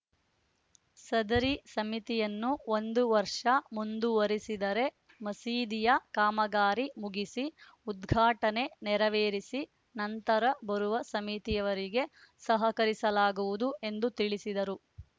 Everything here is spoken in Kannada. ಸದರಿ ಸಮಿತಿಯನ್ನು ಒಂದು ವರ್ಷ ಮುಂದುವರಿಸಿದರೆ ಮಸೀದಿಯ ಕಾಮಗಾರಿ ಮುಗಿಸಿ ಉದ್ಘಾಟನೆ ನೆರವೇರಿಸಿ ನಂತರ ಬರುವ ಸಮಿತಿಯವರಿಗೆ ಸಹಕರಿಸಲಾಗುವುದು ಎಂದು ತಿಳಿಸಿದರು